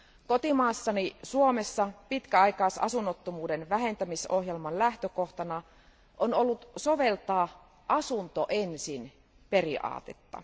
Kotimaassani Suomessa pitkäaikaisasunnottomuuden vähentämisohjelman lähtökohtana on ollut soveltaa asunto ensin periaatetta.